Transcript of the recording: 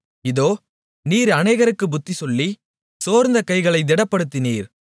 இதோ நீர் அநேகருக்குப் புத்திசொல்லி சோர்ந்த கைகளைத் திடப்படுத்தினீர்